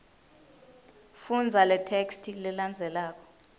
fundza letheksthi lelandzelako